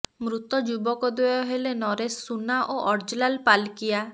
ମୃତ ଯୁବକ ଦ୍ୱୟ ହେଲେ ନରେଶ ସୁନା ଓ ଅର୍ଜଲାଲ ପାଲକିଆ